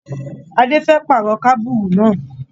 Adé fẹ́ pàrọ̀ kábùrù náà.